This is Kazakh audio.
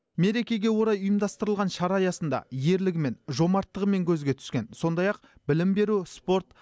мерекеге орай ұйымдастырылған шара аясында ерлігімен жомарттығымен көзге түскен сондай ақ білім беру спорт